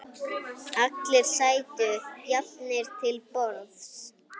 Allir sætu jafnir til borðs.